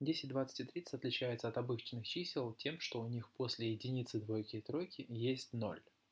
десять двадцать и тридцать отличается от обычных чисел тем что у них после единицы двойки и тройки есть ноль